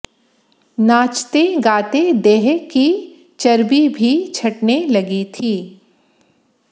नाचते गाते देह की चर्बी भी छंटने लगी थी